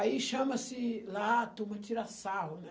Aí chama-se lá, a turma tira sarro, né?